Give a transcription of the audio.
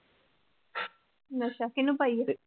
ਅੱਛਾ, ਕਿਹਨੂੰ ਪਾਈ ਆ?